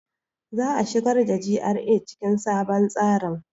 Za a shigar da GRA cikin sabon tsarin.